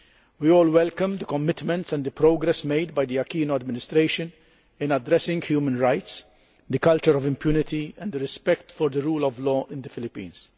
We all welcome the commitment and the progress made by the Aquino administration in addressing human rights, the culture of impunity and respect for the rule of law in the Philippines.